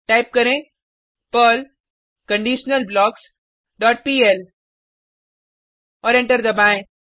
type करें Perl conditional blocks dot pl और enter दबाएँ